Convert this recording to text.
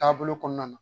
Taabolo kɔnɔna na